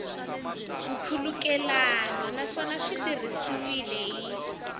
nkhulukelano naswona swi tirhisiwile hi